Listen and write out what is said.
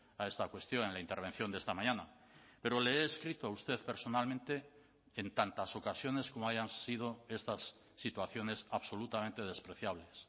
a esta cuestión en la intervención de esta mañana pero le he escrito a usted personalmente en tantas ocasiones como hayan sido estas situaciones absolutamente despreciables